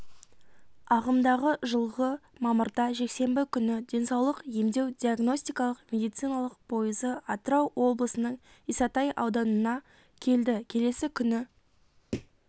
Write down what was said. ағымдағы жылғы мамырда жексенбі күні денсаулық емдеу-диагностикалық медициналық пойызы атырау облысының исатай ауданына келді келесі күні